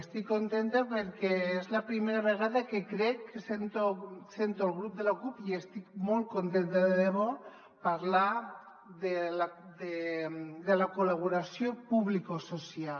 estic contenta perquè és la primera vegada que crec que sento el grup de la cup i n’estic molt contenta de debò parlar de la col·laboració publicosocial